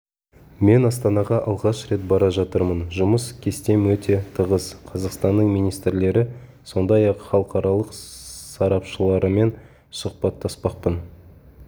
мен астанаға алғаш рет бара жатырмын жұмыс кестем өте тығыз қазақстанның министрлері сондай-ақ халықаралық сарапшыларымен сұхбаттаспақпын